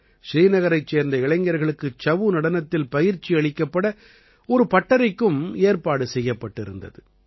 ஸ்ரீநகரைச் சேர்ந்த இளைஞர்களுக்கு சஉ நடனத்தில் பயிற்சி அளிக்கப்பட ஒரு பட்டறைக்கும் ஏற்பாடு செய்யப்பட்டிருந்தது